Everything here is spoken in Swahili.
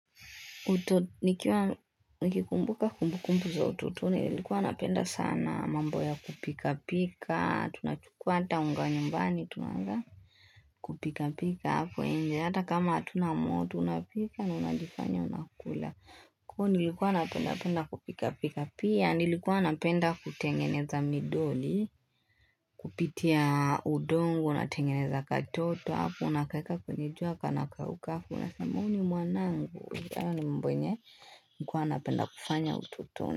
Nikiwa, nikikumbuka kumbukumbu za utotoni, nilikuwa napenda sana mambo ya kupika-pika, tunachukua hata unga nyumbani, tunaanza kupika-pika hapo nje, hata kama hatuna moto tunapika na tunajifanya tunakula. Kuwa nilikuwa napenda kupika pika pia, nilikuwa napenda kutengeneza midoli, kupitia udongo, natengeneza katoto, hapo, nakaweka kwenye jua, kanakauka, unasema Huyu ni mwanangu. Kuwa nilikuwa napenda kufanya utotoni.